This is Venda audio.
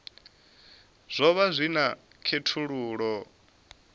zwo vha zwi na khethululoe